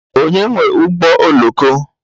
Onye nwe ụgbọ oloko?